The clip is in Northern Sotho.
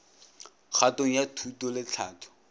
kgatong ya thuto le tlhahlo